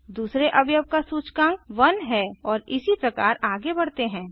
दूसरे अवयव का सूचकांक 1 है और इसी प्रकार आगे बढ़ते हैं